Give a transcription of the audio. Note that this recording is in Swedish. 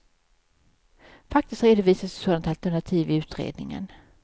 Faktiskt redovisas ett sådant alternativ i utredningen.